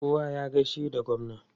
Kowa ya gaishe da gwamna!